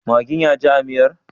Maggin yaji a miyar?